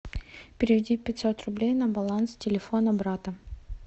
переведи пятьсот рублей на баланс телефона брата